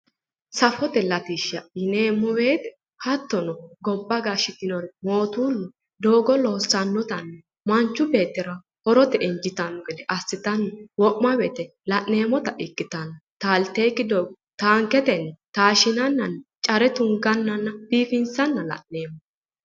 Safote latishsha yineemmo woyte hattono gobba gashshitinori mootoollu doogo loossannotanna manchu beettira horote injiitanno gede assitanni wo'ma woyte la'neemmota ikkitanno taalteyokki doogo taanketennni taashshinannanna care tungannanna biifinsanna la'neemmo